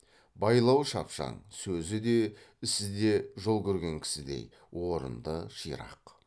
байлауы шапшаң сөзі де ісі де жол көрген кісідей орынды ширақ